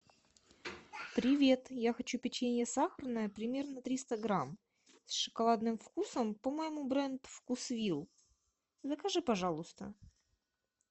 привет я хочу печенье сахарное примерно триста грамм с шоколадным вкусом по моему бренд вкусвилл закажи пожалуйста